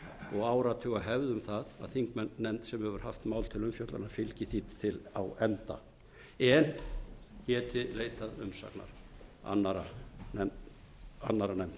og áratugahefð um það að þingnefnd sem hefur haft mál til umfjöllunar fylgi því á enda en geti leitað umsagnar annarra nefnda annað felur að mínu mati í